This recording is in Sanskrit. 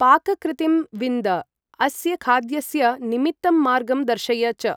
पाककृृतिं विन्द, अस्य खाद्यस्य निमित्तं मार्गं दर्शय च ।